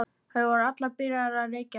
Þær voru allar byrjaðar að reykja.